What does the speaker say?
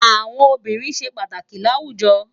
Awòn óbìrín sé pàtákì làwújò